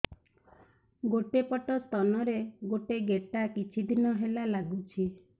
ଗୋଟେ ପଟ ସ୍ତନ ରେ ଗୋଟେ ଗେଟା କିଛି ଦିନ ହେଲା ଲାଗୁଛି